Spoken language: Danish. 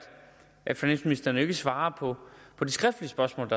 at finansministeren jo ikke svarer på de skriftlige spørgsmål